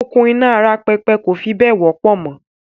“Okùn iná ara pẹpẹ kò fi bẹ́ẹ̀ wọ́pọ̀ mọ